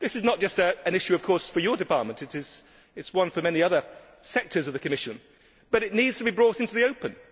This is not just an issue, of course, for your department it is one for many other sectors of the Commission but it needs to be brought into the open.